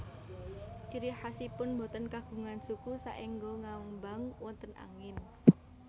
Ciri khasipun boten kagungan suku saéngga ngambang wonten angin